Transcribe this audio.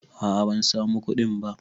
A'a ban samu kuɗin ba